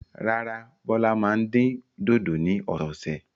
Rárá, Bọ́lá máa dín dòdò ní ọ̀sẹ̀ẹ̀sẹ̀.